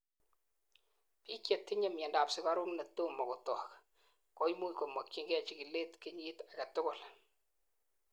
biik chetinyei miondap sugaruk netomokotok koimuch komokyigei chikilet kenyit agetugul